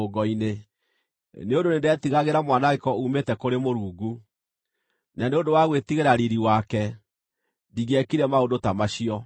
Nĩ ũndũ nĩndetigagĩra mwanangĩko uumĩte kũrĩ Mũrungu, na nĩ ũndũ wa gwĩtigĩra riiri wake, ndingĩekire maũndũ ta macio.